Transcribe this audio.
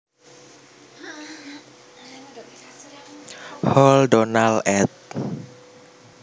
Hall Donald ed